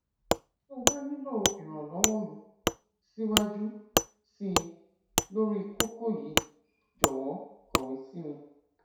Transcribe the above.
tó o bá nílò ìrànlọwọ mi síwájú sí i lórí kókó yìí jọwọ kọwé sí mi